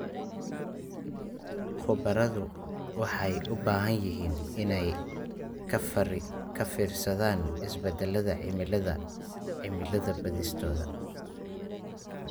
Khubaradu waxay u baahan yihiin inay ka fiirsadaan isbeddelka cimilada cilmi-baadhistooda.